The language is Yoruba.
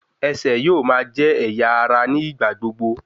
Ẹsẹ̀ yóò máa jẹ́ ẹ̀yà ara ní ìgbà gbogbo